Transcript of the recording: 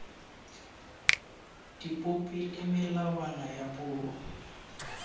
dipopi le melawana ya puo